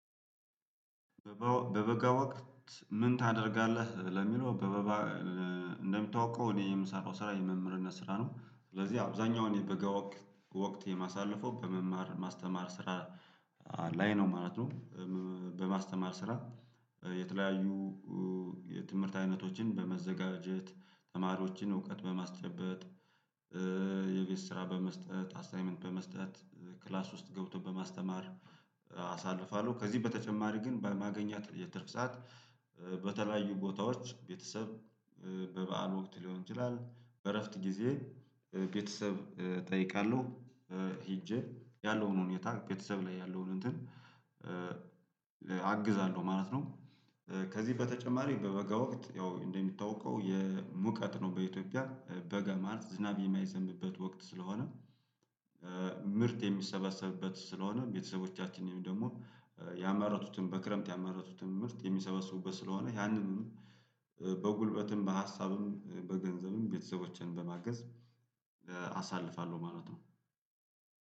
በበጋ ወቅት ምን ታደርጋለህ ለሚለው? በበጋ እንደምታውቀው እኔም ስራ የመምህርነት ስራ ነው ስለዚህ አብዛኛው እኔ በጋ ወቅት የማሳልፈው በመማር ማስተማር ስራ ላይ ነው ማለት ነው። በማስተማር ስራ የተለያዩ የትምህርት አይነቶችን በመዘጋጀት ተማሪዎችን እውቀት በማስጨበጥ የቪስ ስራ በመስጠት አሳይመንት በመስጠት ክላስ ውስጥ ገብቶ በማስተማር አሳልፋለሁ። ከዚህ በተጨማሪ ግን በማገኛ የትርፍ ሰዓት በተለያዩ ቦታዎች ቤተሰብ በበዓል ወቅት ሊሆን ይችላል በእረፍት ጊዜ ቤተሰብ እጠይቃለሁ ሄጄ ያለውን ሁኔታ ቤተሰብ ላይ ያለውን እንትን አግዛለሁ ማለት ነው። ከዚህ በተጨማሪ በበጋ ወቅት ያው እንደምታውቀው የሙቀት ነው በኢትዮጵያ በጋ ማለት ዝናብ የማይዘንብበት ወቅት ስለሆነ ምርት የሚሰበሰብበት ስለሆነ ቤተሰቦቻችን ወይም ደግሞ ያመረቱትን በክረምት ያመረቱትን ምርት የሚሰበስቡበት ስለሆነ ያንንም በጉልበትም በሀሳብም በገንዘብም ቤተሰቦችን በማገዝ አሳልፋለሁ ማለት ነው።